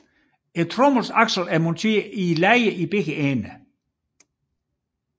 Tromlens aksel er monteret i lejer i begge ender